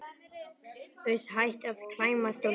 Uss, hættu að klæmast og hlýddu!